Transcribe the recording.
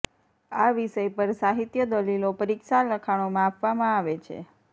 આ વિષય પર સાહિત્ય દલીલો પરીક્ષા લખાણોમાં આપવામાં આવે છે